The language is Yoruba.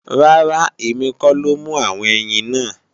Rárá, èmi kọ́ ló mú àwọn ẹyin náà